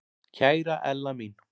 Kæra Ella mín.